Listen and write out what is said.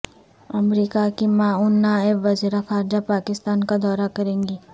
امریکا کی معاون نائب وزیرخارجہ پاکستان کا دورہ کریں گی